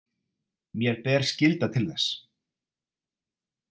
Mér ber skylda til þess.